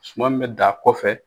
Suma min bɛ dan kɔfɛ.